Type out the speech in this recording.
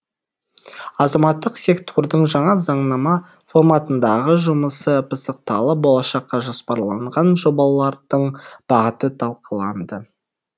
азаматтық сектордың жаңа заңнама форматындағы жұмысы пысықталып болашаққа жоспарланған жобалардың бағыты талқыланды